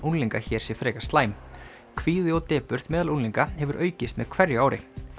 unglinga hér sé frekar slæm kvíði og depurð meðal unglinga hefur aukist með hverju ári